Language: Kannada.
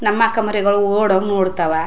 ನಮ್ಮ ಕಮರಿಗಳು ಓಡ್ ಹೋಗಿ ನೋಡ್ ತ್ತವ .